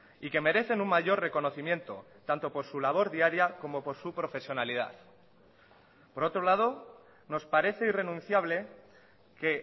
y que merecen un mayor reconocimiento tanto por su labor diaria como por su profesionalidad por otro lado nos parece irrenunciable que